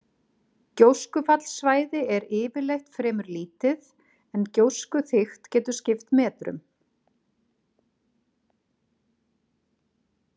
Gjóskufallssvæði er yfirleitt fremur lítið, en gjóskuþykkt getur skipt metrum.